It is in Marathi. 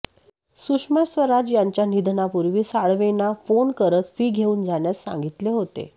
सुषमा स्वराज यांच्या निधनापूर्वी साळवेंना फोन करत फी घेऊन जाण्यास सांगितले होते